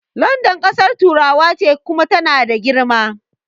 London ƙasar turawa ce Kuma tana da girma